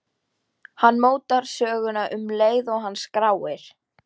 Hann mótar söguna um leið og hann skráir.